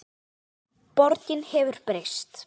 Borgin hefur breyst.